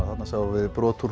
þarna sáum við brot úr